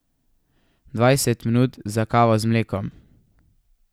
Dvajset minut za kavo z mlekom!